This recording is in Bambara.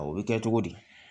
O bɛ kɛ cogo di